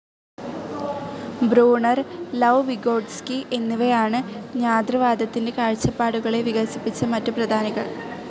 Bruner, Lev Vygotsky എന്നിവരാണ് ജ്ഞാതൃവാദത്തിന്റെ കാഴ്ചപ്പാടുകളെ വികസിപ്പിച്ച മറ്റു പ്രധാനികൾ.